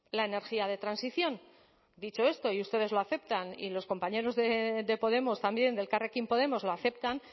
la energía de transición dicho esto y ustedes lo aceptan y los compañeros de podemos también de elkarrekin podemos lo aceptan